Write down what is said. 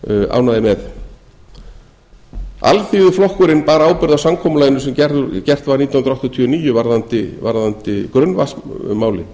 ánægðir með alþýðuflokkurinn bar ábyrgð á samkomulaginu sem gert var nítján hundruð áttatíu og níu varðandi grunnvatnsmálið